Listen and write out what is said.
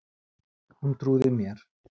Hún trúði mér.